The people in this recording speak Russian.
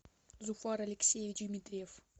зуфар алексеевич дмитриев